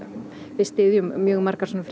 við styðjum mjög margar svona